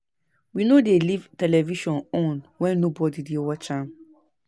We no dey leave television on wen nobody dey watch am.